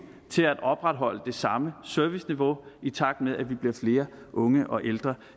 til at opretholde det samme serviceniveau i takt med at vi bliver flere unge og ældre